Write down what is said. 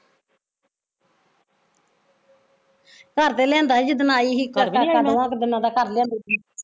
ਘਰ ਤੇ ਲਿਆਂਦਾ ਸੀ ਜਿਦਨ ਆਈ ਸੀ ਤੇ ਆਟਾ ਦੋਆ ਕੁ ਦਿਨਾਂ ਦਾ ਕਰ ਲਿਆਉਂਦੀ ਸੀ